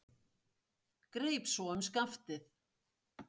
Greip svo um skaftið.